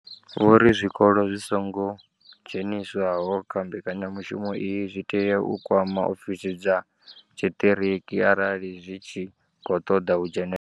Vho ri zwikolo zwi songo dzheniswaho kha mbekanyamushumo iyi zwi tea u kwama ofisi dza tshiṱiriki arali zwi tshi khou ṱoḓa u dzhenela.